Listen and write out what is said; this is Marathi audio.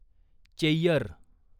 चेय्यर